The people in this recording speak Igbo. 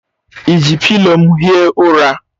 I ji pịlo m hie ụra?